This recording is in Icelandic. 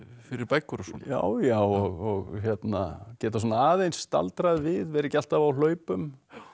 fyrir bækur og svona já já og geta svona aðeins staldrað við vera ekki alltaf á hlaupum